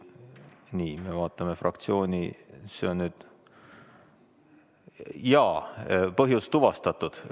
Jaa, põhjus on tuvastatud.